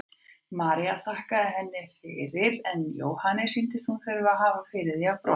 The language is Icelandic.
María þakkaði henni fyrir en Jóhanni sýndist hún þurfa að hafa fyrir því að brosa.